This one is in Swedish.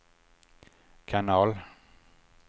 kanal